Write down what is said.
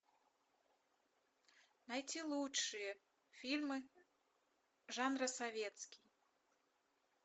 найти лучшие фильмы жанра советский